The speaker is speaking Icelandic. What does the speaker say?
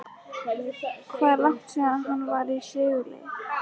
Hvað er langt síðan að hann var í sigurliði?